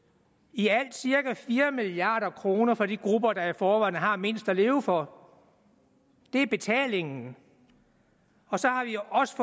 i alt cirka fire milliard kroner for de grupper der i forvejen har mindst at leve for det er betalingen så har vi også